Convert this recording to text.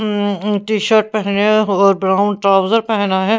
हम्म हम्म टी-शर्ट पहने और ब्राउन ट्राउजर पहना है.